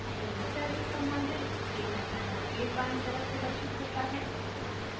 unit cell से सम्बंधित data panel के बायीं तरफ प्रदर्शित होता है